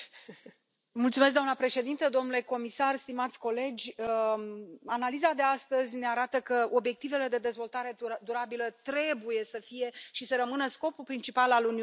Doamnă președintă, domnule comisar, stimați colegi, analiza de astăzi ne arată că obiectivele de dezvoltare durabilă trebuie să fie și să rămână scopul principal al Uniunii Europene.